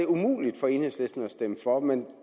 umuligt for enhedslisten at stemme for men